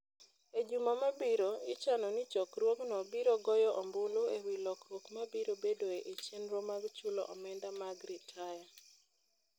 E juma mabiro, ichano ni chokruogno biro goyo ombulu e wi lokruok mabiro bedoe e chenro mag chulo omenda mag ritaya.